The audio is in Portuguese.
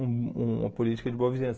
um uma política de boa vizinhança.